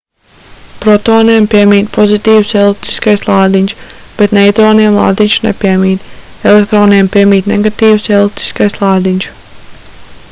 protoniem piemīt pozitīvs elektriskais lādiņš bet neitroniem lādiņš nepiemīt elektroniem piemīt negatīvs elektriskais lādiņš